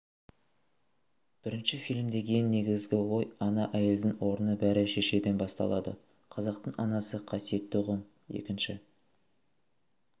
бірінші фильмдегі ең негізгі ой ана әйелдің орны бәрі шешеден басталады қазақтың анасы қасиетті ұғым екінші